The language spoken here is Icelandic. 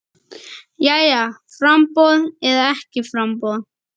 Jæja framboð eða ekki framboð?